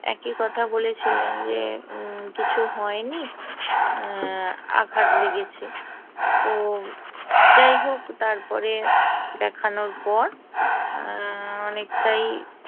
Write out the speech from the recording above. একই কথা বলেছিলেন যে কিছু হয়নি অ্যা আঘাত লেগেছে তো যাই হোক তারপরে দেখানোর পর অনেকটাই অ্যা